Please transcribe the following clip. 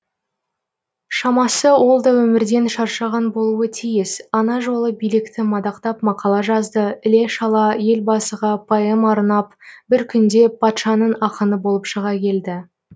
шамасы ол да өмірден шаршаған болуы тиіс ана жолы билікті мадақтап мақала жазды іле шала елбасыға поэма арнап бір күнде патшаның ақыны болып шыға келді